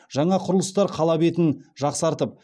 жаңа құрылыстар қала келбетін жақсартып